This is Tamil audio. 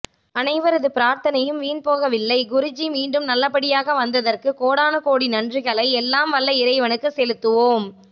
அனைவரது பிரார்த்தனையும் வீண் போகவில்லை குருஜி மீண்டும் நல்லபடியாக வந்ததற்கு கோடானகோடி நன்றிகளை எல்லாம் வல்ல இறைவனுக்கு செலுத்துவோம்